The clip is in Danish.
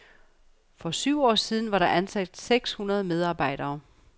For syv år siden var der ansat seks medarbejdere.